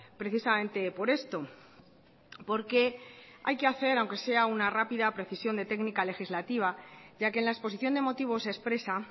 precisamente por esto porque hay que hacer aunque sea una rápida precisión de técnica legislativa ya que en la exposición de motivos se expresa